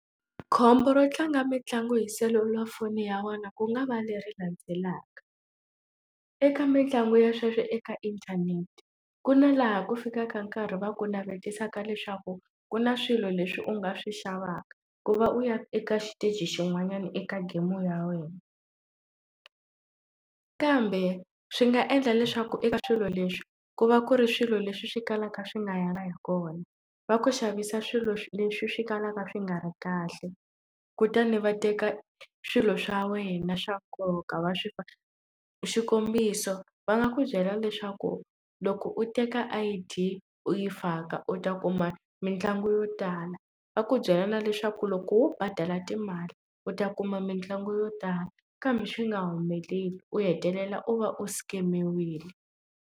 Khombo ro tlanga mitlangu hi selulafoni ya wena ku nga va leri landzelaka eka mitlangu ya sweswo eka inthanete ku na laha ku fikaka nkarhi va ku navetisa ka leswaku ku na swilo leswi u nga swi xavaka ku va u ya eka xiteji xin'wanyana eka game ya wena kambe swi nga endla leswaku eka swilo leswi ku va ku ri swilo leswi swi kalaka swi nga yangi hi kona va ku xavisa swilo leswi swi kalaka swi nga ri kahle kutani va teka swilo swa wena swa nkoka va swi xikombiso va nga ku byela leswaku loko u teka I_D u yi faka u ta kuma mitlangu yo tala va ku byela na leswaku loko wo badala timali u ta kuma mitlangu yo tala kambe swi nga humeleli u hetelela u va u scam-iwile.